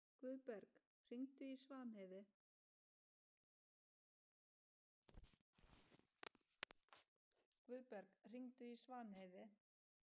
Guðberg, hringdu í Svanheiði.